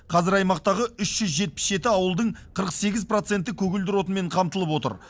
қазір аймақтағы үш жүз жетпіс жеті ауылдың қырық сегіз проценті көгілдір отынмен қамтылып отыр